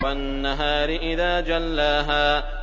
وَالنَّهَارِ إِذَا جَلَّاهَا